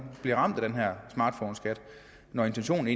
bliver ramt af den her smartphoneskat når intentionen